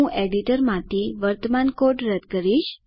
હું એડિટરમાંથી વર્તમાન કોડ રદ કરીશ